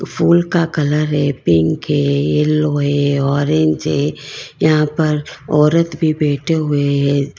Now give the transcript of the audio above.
फूल का colour pink है yellow है ऑरेंज है यहां पर औरत भी बैठे हुए है।